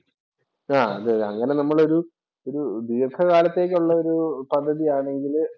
ആഹ് അതെയതെ, അങ്ങനെ നമ്മൾ ഒരു ഒരു ദീർഘകാലത്തേക്കുള്ള ഒരു പദ്ധതിയാണെങ്കില്